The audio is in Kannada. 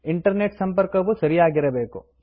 ಇಂಟರ್ನೆಟ್ ಸಂಪರ್ಕವು ಸರಿಯಾಗಿರಬೇಕು